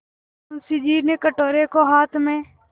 मुंशी जी ने कटोरे को हाथ में